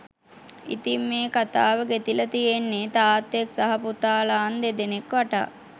ඉතිං මේ කතාව ගෙතිලා තියෙන්නේ තාත්තෙක් සහ පුතාලා න් දෙනෙක් වටා